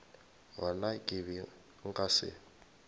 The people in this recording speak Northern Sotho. gona ke be nka se